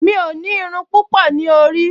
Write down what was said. Mi ò ní irun púpọ̀ ní orí